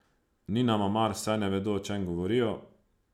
Ni nama mar, saj ne vedo, o čem govorijo.